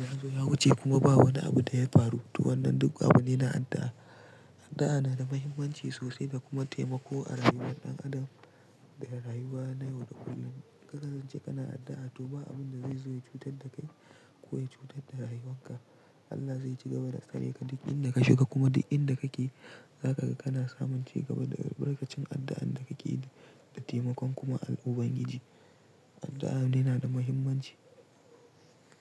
ya zo ya wuce kuma ba wani abu da ya faru. To wannan duk abu ne na addu'a. Addu'a na da muhimmanci sosai da kuma taimako a rayuwar ɗan adam da rayuwa na yau da kullum. Kana zance kana addu'a, to ba abun da zai zo cutar da kai ko cutar da rayuwarka. Allah zai ciga ba tsare ka duk inda ka shiga kuma duk inda kake, zaka ga kana samun cigaba daga albarkacin addu'an da kake yi da taimakon kuma Allah ubangiji. Addu'a ne na da muhimmanci.